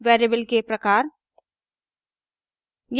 variable के प्रकार